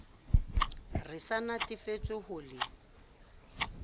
re sa natefetswe ho le